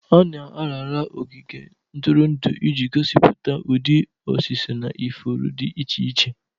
A na-arara ogige ntụrụndụ iji gosipụta ụdị osisi na ifuru dị iche iche.